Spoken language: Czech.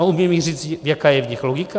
A umí mi říct, jaká je v nich logika?